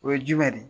O ye jumɛn de ye